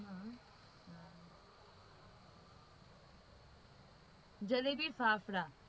jalebi fafda